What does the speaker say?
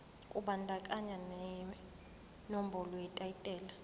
kubandakanya nenombolo yetayitela